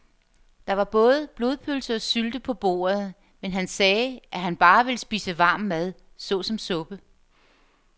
Der var både blodpølse og sylte på bordet, men han sagde, at han bare ville spise varm mad såsom suppe.